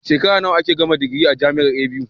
Shekara nawa ake gama digiri a jamiar buk